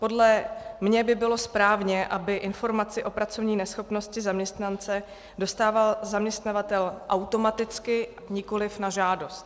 Podle mě by bylo správně, aby informaci o pracovní neschopnosti zaměstnance dostával zaměstnavatel automaticky, nikoliv na žádost.